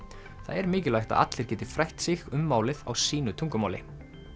það er mikilvægt að allir geti frætt sig um málið á sínu tungumáli